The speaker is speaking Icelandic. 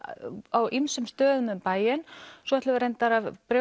á ýmsum stöðum um bæinn svo ætlum við reyndar að